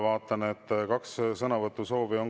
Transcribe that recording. Vaatan, et on kaks kohapealt sõnavõtu soovi.